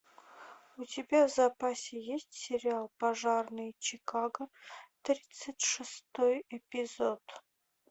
у тебя в запасе есть сериал пожарные чикаго тридцать шестой эпизод